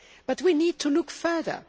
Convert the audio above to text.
But we need to look further.